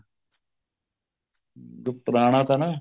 ਵੀ ਪੁਰਾਣਾ ਤਾਂ ਨਾ